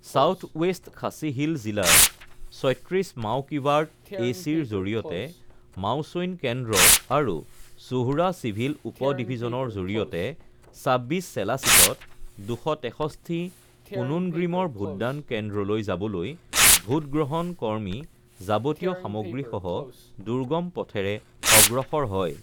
south West Khasi hill জিলাৰ ৩৬ মাওকিৰ্বাট এ চিৰ জৰিয়তে মাওছৈন কেন্দ্ৰ আৰু সোহৰা চিভিল উপ ডিভিজনৰ জৰিয়তে ২৬ শেলা ছিটত ২৬৩ কুনোনগ্ৰিমৰ ভোটদান কেন্দ্ৰলৈ যাবলৈ ভোট গ্ৰহণ কৰ্মী যাবতীয় সামগ্ৰীসহ দুৰ্গম পথেৰে অগ্ৰসৰ হয়